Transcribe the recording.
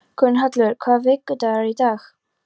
Gunnhallur, hvaða vikudagur er í dag?